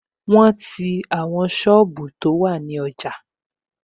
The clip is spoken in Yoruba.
Wọn ti àwọn sọ́ọ̀bù tó wà ní ọjà